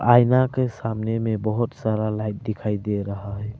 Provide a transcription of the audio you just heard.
आईना के सामने में बहोत सारा लाइट दिखाई दे रहा है।